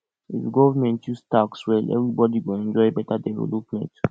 if government use tax well everybody go enjoy beta development